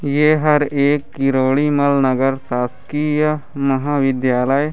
ये हर एक किरोड़ी मल नगर शासकीय महाविद्यालय--